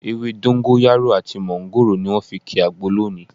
Ewé dógóńyárò àti mọ́ńgòrò ni wọ́n fi ki àgbo lónìí